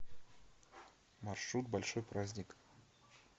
маршрут большой праздник